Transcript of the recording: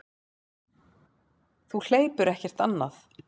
Þú hleypur ekkert annað.